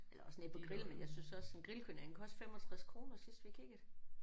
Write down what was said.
Eller også ned på grillen. Men jeg synes også en grillkylling den kostede 65 kroner sidst vi kiggede